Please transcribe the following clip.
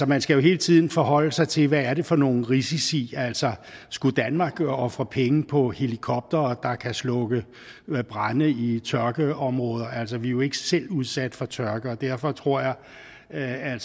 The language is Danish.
man skal jo hele tiden forholde sig til hvad det er for nogle risici skulle danmark for eksempel ofre penge på helikoptere der kan slukke brande i tørkeområder altså vi er jo ikke selv udsat for tørke derfor tror jeg at